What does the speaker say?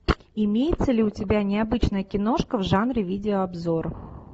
имеется ли у тебя необычная киношка в жанре видеообзор